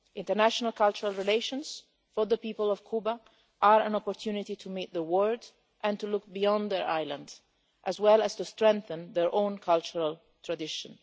International cultural relations for the people of Cuba are an opportunity to meet the world and to look beyond their island, as well as to strengthen their own cultural tradition.